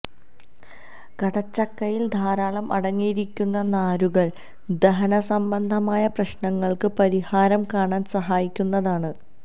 കടച്ചക്കയിൽ ധാരാളം അടങ്ങിയിരിക്കുന്ന നാരുകൾ ദഹന സംബന്ധമായ പ്രശ്നങ്ങൾക്ക് പരിഹാരം കാണാൻ സഹായിക്കുന്നതാണ്